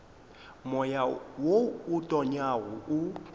moya wo o tonyago o